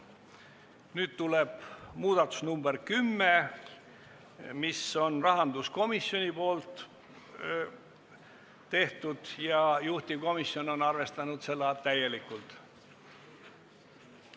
Nüüd tuleb muudatusettepanek nr 10, mis on rahanduskomisjoni tehtud ja juhtivkomisjon on arvestanud seda täielikult.